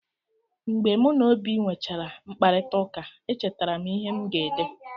Mgbe mụ na Obi nwechaala mkparịtaụka, echetara m ihe m ga-ede.